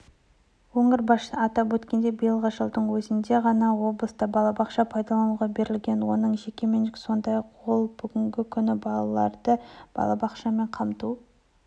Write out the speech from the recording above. өңір басшысы атап өткендей биылғы жылдың өзінде ғана облыста балабақша пайдалануға берілген оның жекеменшік сондай-ақ ол бүгінгі күні балаларды балабақшамен қамту